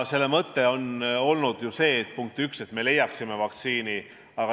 Selle mõte on olnud ju see, punkt üks, et me leiaksime vaktsiini.